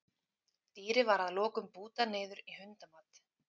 Dýrið var að lokum bútað niður í hundamat.